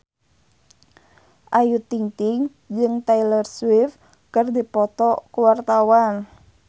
Ayu Ting-ting jeung Taylor Swift keur dipoto ku wartawan